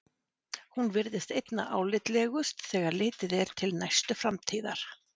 Hún virðist einna álitlegust þegar litið er til næstu framtíðar.